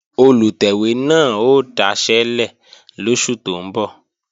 Olùtẹ̀wé náà ó daṣẹ́lẹ̀ lóṣù tó ń bọ̀